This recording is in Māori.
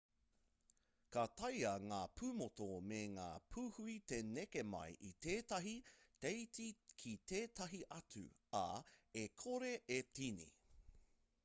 ka taea ngā pūmotu me ngā pūhui te neke mai i tētahi teiti ki tētahi atu ā e kore e tīni